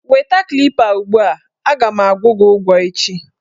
Weta Klipa ugbua! A ga m agwụ gị ụgwọ echi.